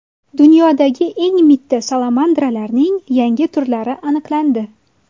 Dunyodagi eng mitti salamandralarning yangi turlari aniqlandi.